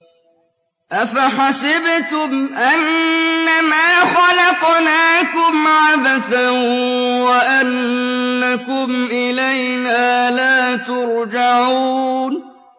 أَفَحَسِبْتُمْ أَنَّمَا خَلَقْنَاكُمْ عَبَثًا وَأَنَّكُمْ إِلَيْنَا لَا تُرْجَعُونَ